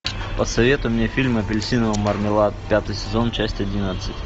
посоветуй мне фильм апельсиновый мармелад пятый сезон часть одиннадцать